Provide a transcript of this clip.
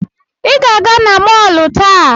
Ị ga-aga na mọọlụ taa!